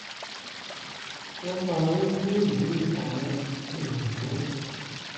wọ́n máa ń lè yí àwọn ohun tó